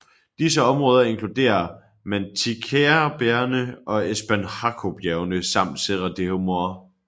Disse områder inkluderer Mantiqueirabjergene og Espinhaçobjergene samt Serra do Mar